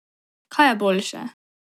Kaj je boljše?